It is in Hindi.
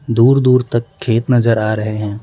दूर दूर तक खेत नजर आ रहे हैं।